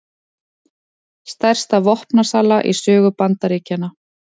Stærsta vopnasala í sögu Bandaríkjanna